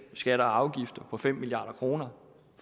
skatter og afgifter for fem milliard kr